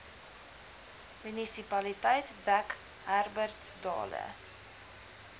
munisipaliteit dek herbertsdale